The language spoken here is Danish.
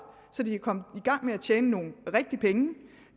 så de kan komme i gang med at tjene nogle rigtige penge